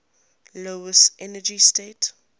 lowest energy state